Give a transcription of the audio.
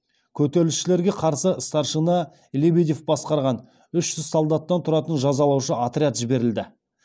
көтерілісшілерге қарсы старшина лебедев басқарған үш жүз солдаттан тұратын жазалаушы отряд жіберілді